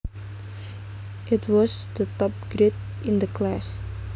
It was the top grade in the class